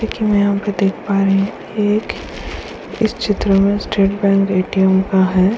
कि यहाँ पे देख पा रहे हैं कि एक इस चित्र में स्टेट बैंक एटीएम का है।